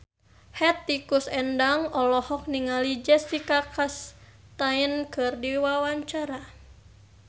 Hetty Koes Endang olohok ningali Jessica Chastain keur diwawancara